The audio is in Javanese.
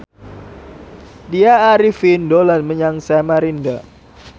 Tya Arifin dolan menyang Samarinda